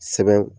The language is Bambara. Sɛbɛn